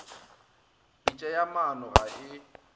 pitša ya maano ga e